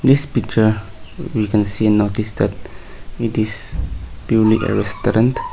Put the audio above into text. this picture we can see notice that it is purely a restaurant.